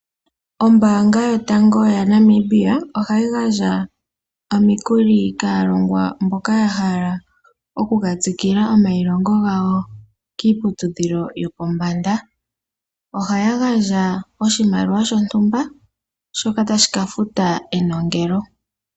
Ombaanga yotango yopashigwana ohayi gandja omikuli kaalongwa mboka ya hala okuka tsikila omayilongo gawo kiiputidhilo yopombanda. Ohayi gandja oshimaliwa shontumba shoka tashi ka futa enongele.